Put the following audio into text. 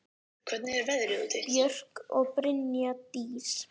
Björk og Brynja Dís.